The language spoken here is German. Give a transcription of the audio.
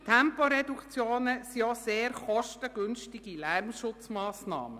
Temporeduktionen sind auch sehr kostengünstige Lärmschutzmassnahmen.